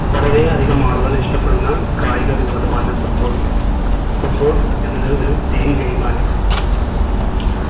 വളരെ അധികം ആളുകൾ ഇഷ്ട്ടപെടുന്ന കായിക വിനോദമാണ് footballfootball എന്നത് ഒരു team game ആണ്